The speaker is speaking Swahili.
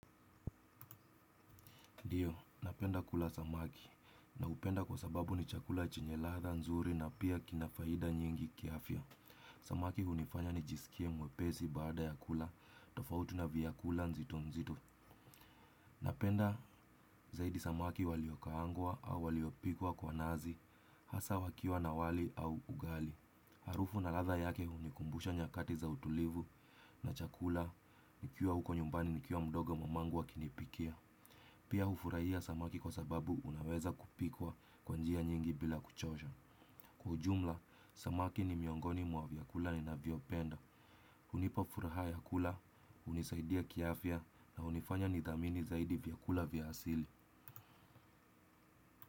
Ndiyo, napenda kula samaki naupenda kwa sababu ni chakula chenye ladha nzuri na pia kinafaida nyingi kiafya. Samaki hunifanya nijisikie mwepesi baada ya kula, tofauti na vyakula nzito nzito. Napenda zaidi samaki waliokaangwa au waliopikwa kwa nazi, hasa wakiwa na wali au ugali. Harufu na latha yake hunikumbusha nyakati za utulivu na chakula nikiwa huko nyumbani nikiwa mdogo mamangu akinipikia. Pia ufurahia samaki kwa sababu unaweza kupikwa kwa njia nyingi bila kuchosha. Kwa ujumla, samaki ni miongoni mwa vyakula ninavyo penda. Unipa furaha vyakula, unisaidia kiafya na unifanya nithamini zaidi vyakula vya asili.